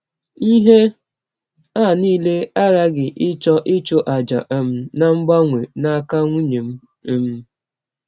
Ihe a nile aghaghị ịchọ ịchụ àjà um na mgbanwe n’aka nwụnye m. m.